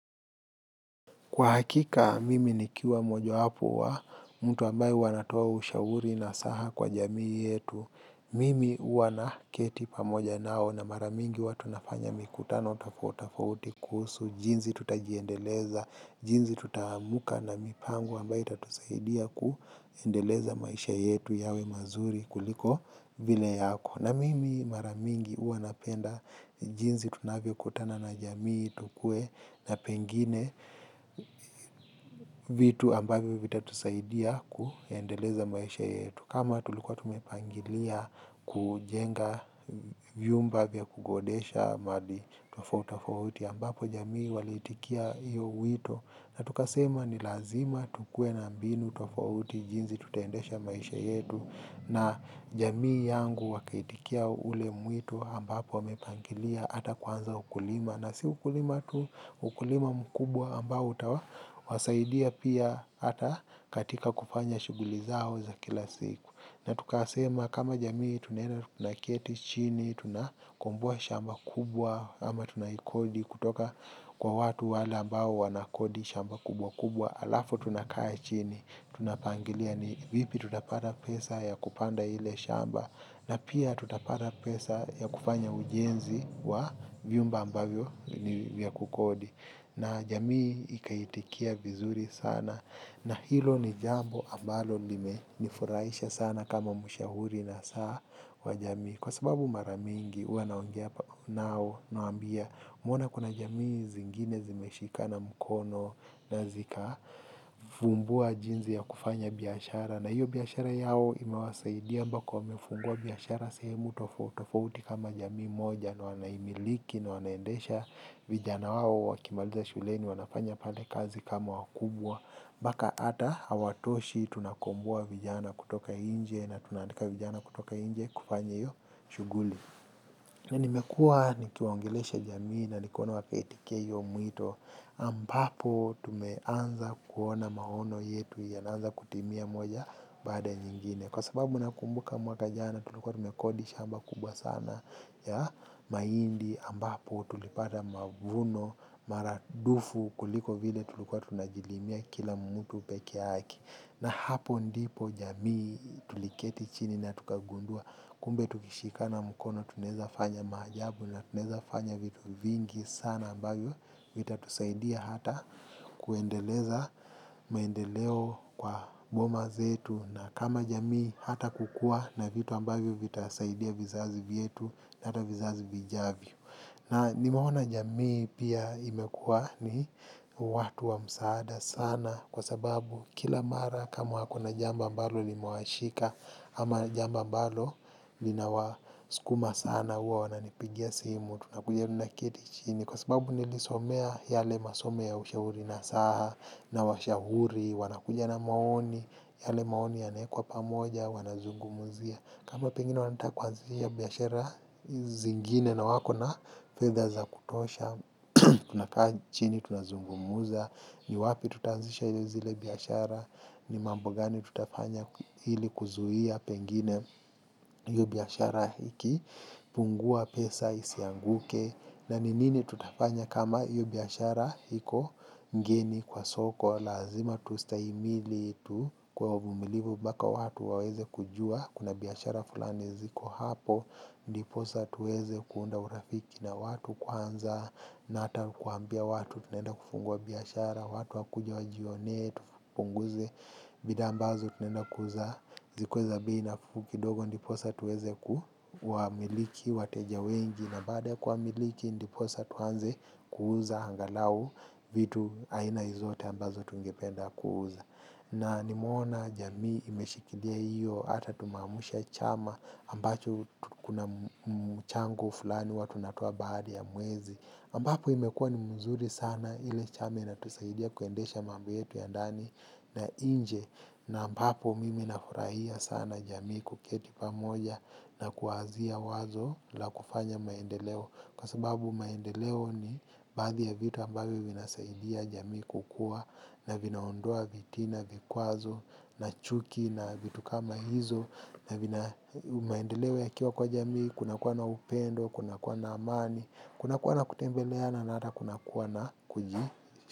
Kwa hakika, mimi nikiwa mmoja wapo wa mtu ambayo huwa anatoa ushauri nasaha kwa jamii yetu. Mimi huwa naketi pamoja nao na mara mingi huwa tunafanya mikutano tofauti tofauti kusuhu, jinsi tutajiendeleza, jinsi tutaamka na mipango ambayo itatusaidia kuendeleza maisha yetu yawe mazuri kuliko vile yako. Na mimi mara mingi huwa napenda jinsi tunavyo kutana na jamii tukue na pengine vitu ambavyo vitatusaidia kuendeleza maisha yetu. Kama tulikuwa tumepangilia kujenga vyumba vya kukodesha madi tofauti tofauti ambapo jamii waliitikia hio wito. Na tukasema ni lazima tukue na mbinu tofauti jinsi tutaendesha maisha yetu na jamii yangu wakaitikia ule mwito ambapo wamepangilia ata kwanza ukulima na si ukulima tu ukulima mkubwa ambao utawa wasaidia pia ata katika kufanya shughuli zao za kila siku. Na tukasema kama jamii tunaenda tunaketi chini, tuna komboa shamba kubwa, ama tunaikodi kutoka kwa watu wale ambao wanakodi shamba kubwa kubwa, alafu tunakaa chini, tunapangilia ni vipi tutapata pesa ya kupanda ile shamba, na pia tutapata pesa ya kufanya ujenzi wa vyumba ambavyo ni vyakukodi. Na jamii ikaitikia vizuri sana na hilo ni jambo ambalo limeni furahisha sana kama mshauri na saa wa jamii. Kwa sababu mara mingi huwa naongea nao nawaambia umeona kuna jamii zingine zimeshikana mkono na zika fumbua jinsi ya kufanya biashara. Na hiyo biashara yao imewasaidia mpaka wamefungua biashara sehemu tofauti tofauti kama jamii moja na wanaimiliki na wanaendesha vijana wao wakimaliza shuleni wanafanya pale kazi kama wakubwa mpaka ata hawatoshi tunakomboa vijana kutoka inje na tuna andika vijana kutoka inje kufanya hio shughuli. Na nimekua nikiwaongelesha jamii na nikona wapetikei mwito ambapo tumeanza kuona maono yetu yanaanza kutimia moja baada ya nyingine kwa sababu nakumbuka mwaka jana tulikua tumekodi shamba kubwa sana ya mahindi ambapo tulipata mavuno mara dufu kuliko vile tulikuwa tunajilimia kila mtu pekee yake na hapo ndipo jamii tuliketi chini na tukagundua kumbe tukishikana mkono tunaeza fanya maajabu na tunaeza fanya vitu vingi sana ambavyo vita tusaidia hata kuendeleza maendeleo kwa boma zetu na kama jamii hata kukua na vitu ambavyo vitasaidia vizazi vyetu na hata vizazi vijavyo. Na nimeona jamii pia imekua ni watu wa msaada sana kwa sababu kila mara kama hakuna jambo ambalo limewashika ama jambo ambalo linawaskuma sana huwa wananipigia simu. Tunakuja tunaketi chini. Kwa sababu nilisomea yale masomo ya ushauri nasaha, na washauri, wanakuja na maoni, yale maoni yana wekwa pamoja, wanazungumzia. Kama pengine wanataka kuanzilia biashara zingine na wako na fedha za kutosha, tunakaa chini, tunazungumza. Ni wapi tuta anzisha zile biashara, ni mambo gani tutafanya ili kuzuhia pengine kufunguliwa biashara hiki, fungua pesa, isianguke, na ni nini tutafanya kama hiyo biashara iko geni kwa soko. Lazima tustahimili tukuwe wa vumilivu mpaka watu waweze kujua. Kuna biashara fulani ziko hapo. Ndiposa tuweze kuunda urafiki na watu kwanza. Na ata kuambia watu tunaenda kufungua biashara. Watu wakuje wajione, tupunguze. Bidha ambazo tunaenda kuuza. Zikuwe za bei nafu kidogo. Ndiposa tuweze kuwa miliki, wateja wengi. Na baada ya kuwa miliki ndiposa tuanze kuuza angalau vitu aina zote ambazo tungependa kuuza. Na nimeona jamii imeshikilia hiyo ata tumeamsha chama ambacho kuna mchango fulani huwa tunatoa baada ya mwezi. Ambapo imekua ni mzuri sana ile chama inatusaidia kuendesha mambo yetu ya ndani na inje. Na ambapo mimi nafurahia sana jamii kuketi pamoja na kuazia wazo la kufanya maendeleo. Kwa sababu maendeleo ni badhi ya vitu ambavyo vinasaidia jamii kukuwa na vinaondoa vitina vikwazo na chuki na vitu kama hizo. Na vina maendeleo yakiwa kwa jamii kuna kuwa na upendo, kunakuwa na amani. Kunakuwa na kutembeleana na ata kunakuwa na kuji.